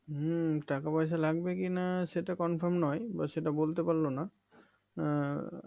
হম টাকা পয়সা লাগবে কিনা সেটা Confirm নয় বা সেটা বলতে পারলোনা এর